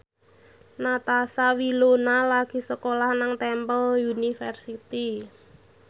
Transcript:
Natasha Wilona lagi sekolah nang Temple University